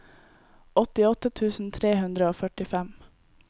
åttiåtte tusen tre hundre og førtifem